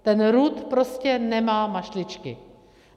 Ten RUD prostě nemá mašličky.